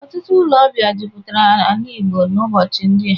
Ọtụtụ ụlọ ọbịa jupụtara ala Igbo n'ubochi ndịa